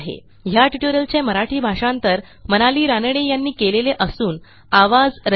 ह्या ट्युटोरियलचे मराठी भाषांतर मनाली रानडे यांनी केलेले असून आवाज